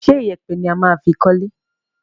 Ṣé ìyẹ̀pẹ̀ ni a máa fi kọ́lé?